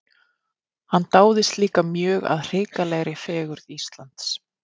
Hann dáðist líka mjög að hrikalegri fegurð Íslands.